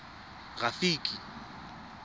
rafiki